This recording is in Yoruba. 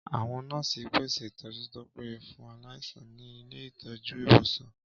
Àwọn nọ́ọ̀sì ń pèsè ìtọ́jú tó péye fún aláìsàn ní ilé ìtọ́jú/ ìwòsàn